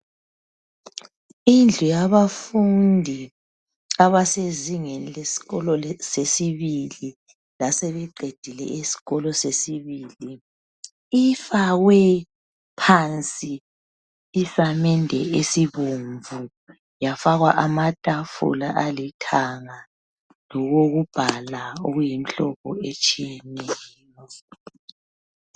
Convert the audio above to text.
Indlu yabafundi abasezingeni lesikolo sesibili lasebeqedile isikolo sesibili ifakwe phansi isamende esibomvu yafakwa amatafula alithanga lokokubhala oyimhlobo etshiyeneyo.